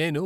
నేను